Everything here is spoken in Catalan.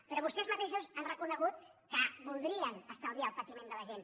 però vostès mateixos han reconegut que voldrien estalviar el patiment de la gent